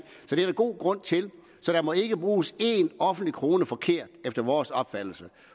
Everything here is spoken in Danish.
det er der god grund til så der må ikke bruges én offentlig krone forkert efter vores opfattelse